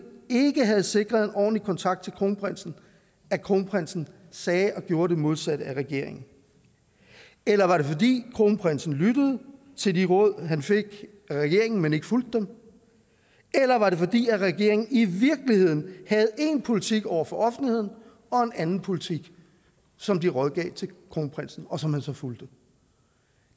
ikke havde sikret en ordentlig kontakt til kronprinsen at kronprinsen sagde og gjorde det modsatte af regeringen eller var det fordi kronprinsen lyttede til de råd han fik af regeringen men ikke fulgte dem eller var det fordi regeringen i virkeligheden havde én politik over for offentligheden og en anden politik som de rådgav kronprinsen om og som han så fulgte